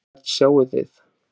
Hvern sjáið þið?